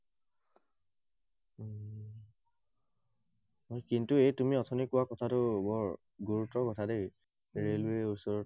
কিন্তু এই তুমি অথনি কোৱা কথাটো বৰ গুৰুত্বৰ কথা দেই, ৰেলৱে ওচৰৰ